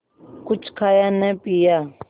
कुछ खाया न पिया